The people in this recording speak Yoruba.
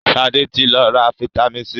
Sade tí ló rà vitamin c.